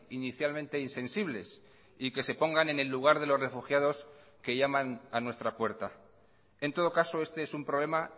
inicialmente insensibles y que se pongan en el lugar de los refugiados que llaman a nuestra puerta en todo caso este es un problema